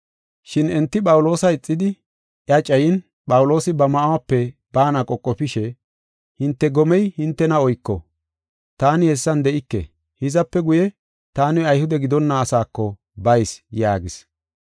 Shin enti Phawuloosa ixidi iya cayin Phawuloosi ba ma7uwape baana qoqofishe, “Hinte gomey hintena oyko; taani hessan de7ike. Hizape guye, taani Ayhude gidonna asaako bayis” yaagis.